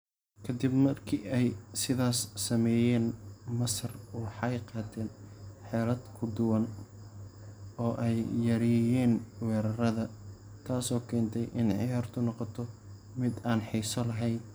Ka dib markii ay sidaas sameeyeen, Masar waxay qaateen xeelad ka duwan oo ay yareeyeen weerarrada, taasoo keentay in ciyaartu noqoto mid aan xiiso lahayn.